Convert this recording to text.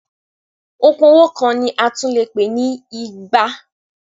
Okùn owó kan ni a tún lè pè ní igba.